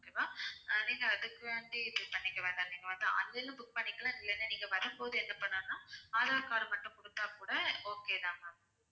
okay வா ஆஹ் நீங்க அதுக்காண்டி இது பண்ணிக்க வேண்டாம் நீங்க வந்து online ல book பண்ணிக்கலாம் இல்லன்னா நீங்க வரும்போது என்ன பண்ணனும்னா card மட்டும் குடுத்தா கூட okay தான் ma'am